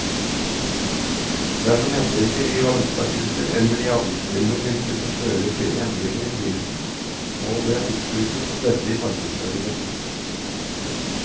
Dersom endringer i valutakurser eller i avgiftsbildet vil kunne føre til endringer i prisen, må det opplyses om dette i markedsføringen.